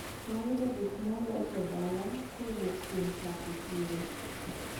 Nayudo gikmaolos dala kowuok kuom chak e chiro.